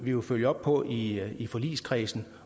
jo følge op på i i forligskredsen